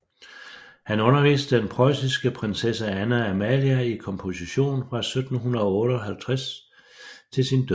Han underviste den preussiske prinssesse Anna Amalia i komposition fra 1758 til sin død